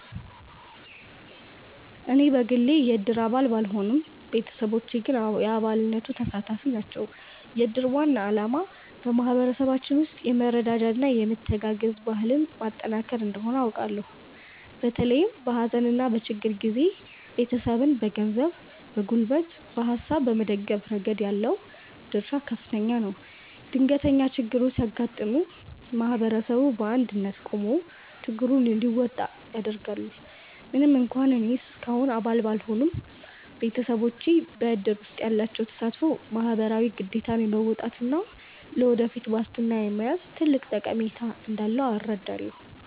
እኔ በግሌ የእድር አባል ባልሆንም፣ ቤተሰቦቼ ግን የአባልነቱ ተሳታፊ ናቸው። የእድር ዋና ዓላማ በማኅበረሰባችን ውስጥ የመረዳጃና የመተጋገዝ ባህልን ማጠናከር እንደሆነ አውቃለሁ። በተለይም በሐዘንና በችግር ጊዜ ቤተሰብን በገንዘብ፣ በጉልበትና በሐሳብ በመደገፍ ረገድ ያለው ድርሻ ከፍተኛ ነው። ድንገተኛ ችግሮች ሲያጋጥሙ ማኅበረሰቡ በአንድነት ቆሞ ችግሩን እንዲወጣ ያደርጋል። ምንም እንኳን እኔ እስካሁን አባል ባልሆንም፣ ቤተሰቦቼ በእድር ውስጥ ያላቸው ተሳትፎ ማኅበራዊ ግዴታን የመወጣትና ለወደፊት ዋስትና የመያዝ ትልቅ ጠቀሜታ እንዳለው እረዳለሁ።